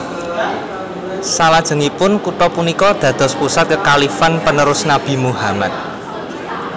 Salajengipun kutha punika dados pusat kekhalifan panerus Nabi Muhammad